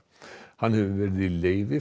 hann hefur verið leyfi